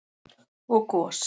og gos.